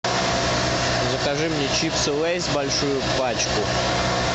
закажи мне чипсы лейс большую пачку